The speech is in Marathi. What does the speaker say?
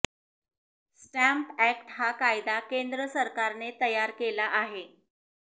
स्टॅम्प ऍक्ट हा कायदा केंद्र सरकारने तयार केला आहे